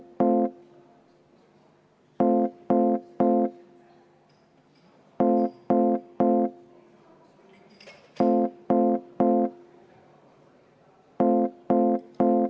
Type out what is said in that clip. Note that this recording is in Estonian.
V a h e a e g